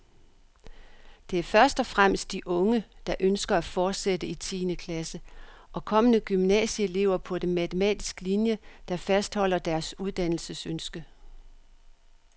Det er først og fremmest de unge, der ønsker at fortsætte i tiende klasse, og kommende gymnasieelever på matematisk linie, der fastholder deres uddannelsesønske.